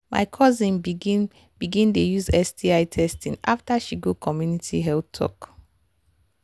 my cousin begin begin dey use sti testing after she go community health talk.